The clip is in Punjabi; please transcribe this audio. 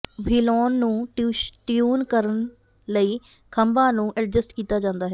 ਵ੍ਹੀਲੌਨ ਨੂੰ ਟਿਊਨ ਕਰਨ ਲਈ ਖੰਭਾਂ ਨੂੰ ਐਡਜਸਟ ਕੀਤਾ ਜਾਂਦਾ ਹੈ